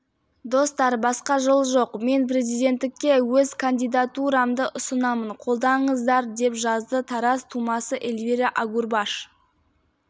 достар басқа жол жоқ мен президенттікке өз кандидатурамды ұсынамын қолдаңыздар деп жазды тараз тумасы эльвира агурбаш